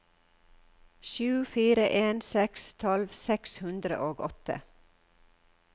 sju fire en seks tolv seks hundre og åtte